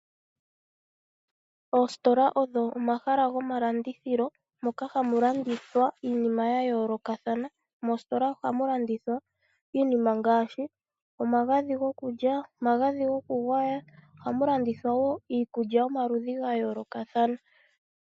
Oositola odho omahala gomalandithilo moka hamu landithwa iinima ya yoolokathana . Moositola ohamu landithwa iinima ngaashi omagadhi gokulya, omagadhi gokulya . Ohamu landithwa woo iikulya yomaludhi ga yoolokathana.